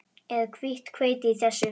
Er hvítt hveiti í þessu?